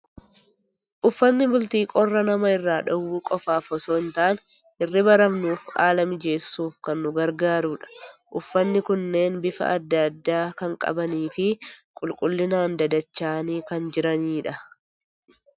Uffatni bultii qorra nama irraa dhowwuu qofaaf osoo hin taane, hirriba rafnuuf haala mijeessuuf kan nu gargaarudha. Uffatni kunneen bifa adda addaa kan qabanii fi qulqullinaan dadacha'anii kan jirani dha.